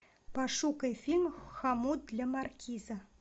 пошукай фильм хомут для маркиза